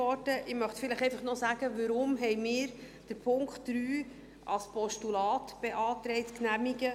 Ich möchte vielleicht einfach noch sagen, weshalb wir beantragt haben, den Punkt 3 als Postulat zu genehmigen.